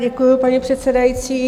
Děkuju, paní předsedající.